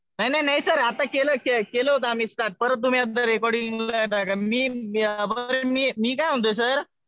नाही नाही सर. आता केलं होतं आम्ही रेकॉर्डिंग स्टार्ट. परत तुम्ही एकदा रेकॉर्डिंग ऐका. मी रेकॉर्डिंग, मी काय म्हणतोय सर.